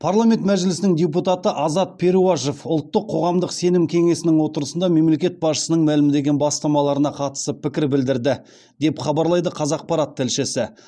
парламент мәжілісінің депутаты азат перуашев ұлттық қоғамдық сенім кеңесінің отырысында мемлекет басшысының мәлімдеген бастамаларына қатысты пікір білдірді деп хабарлайды қазақпарат тілшісі